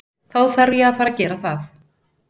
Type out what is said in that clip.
Þá þarf ég að fara gera það.